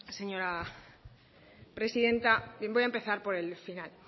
señora presidenta bien voy a empezar por el final